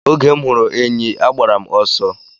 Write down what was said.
Oge m hụrụ enyi agbara m ọsọ.